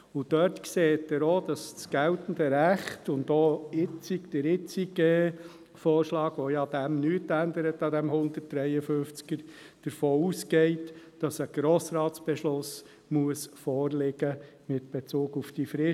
» Daran sehen Sie, dass das geltende Recht und der jetzige Vorschlag, mit welchem der Artikel 153 nicht abgeändert wird, davon ausgehen, dass ein Grossratsbeschluss vorliegen muss mit Bezug auf die Frist.